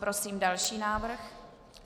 Prosím další návrh.